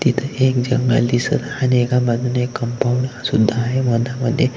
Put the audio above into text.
तिथं एक जंगल दिसत आणि एका बाजूने कंपाऊंड सुद्धा आहे मधामध्ये.